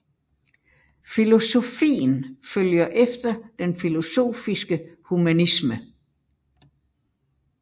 Filosofien følger efter den filosofiske humanisme